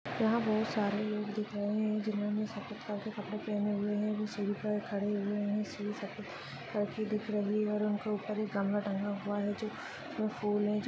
यहा बहुत सारे लोग दिख रहे है जिन्होने सफ़ेद कपड़े पहने हुए है वो सिड़ी पर खड़े हुए है सीडी सफ़ेद कलर की दिख रही है और उनके उप्पर एक गमला टंगा हुआ है जो जिसमे फुल है।